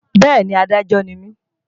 Bẹ́ẹ̀ni, Adájọ́ ni mí